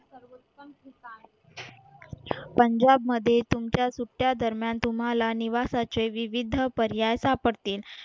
पंजाब मध्ये तुमच्या सुट्ट्या दरम्यान तुम्हाला निवासाचे विविध पर्याय सापडतील